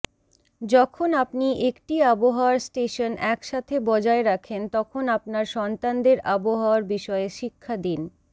যখন আপনি একটি আবহাওয়ার স্টেশন একসাথে বজায় রাখেন তখন আপনার সন্তানদের আবহাওয়ার বিষয়ে শিক্ষা দিন